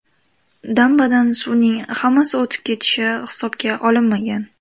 Dambadan suvning hammasi o‘tib ketishi hisobga olinmagan.